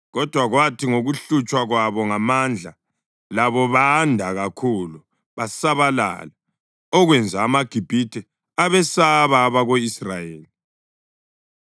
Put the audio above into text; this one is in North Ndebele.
Kodwa kwathi ngokuhlutshwa kwabo ngamandla, labo banda kakhulu basabalala; okwenza amaGibhithe abesaba abako-Israyeli